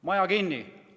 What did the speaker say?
Maja kinni!